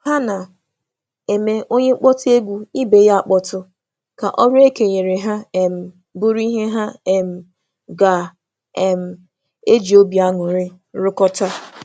Ha na-akpọtụ oge ha họrọ egwu iji mee ka ọrụ ha na-arụ ọnụ bụrụ ihe na-atọ ụtọ.